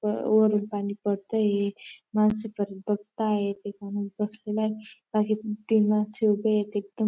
व वरून पाणी पडतय. माणसं परत बघताय. ते पाणी कसलाच मागे पण ती माणसं उभे आहे तिकडून.